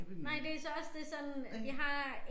Nej det så også det sådan jeg har